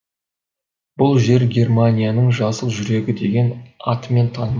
бұл жер германияның жасыл жүрегі деген атымен танымал